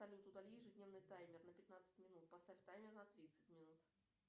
салют удали ежедневный таймер на пятнадцать минут поставь таймер на тридцать минут